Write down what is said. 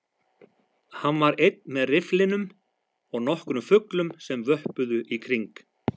Hann var einn með rifflinum og nokkrum fuglum sem vöppuðu í kring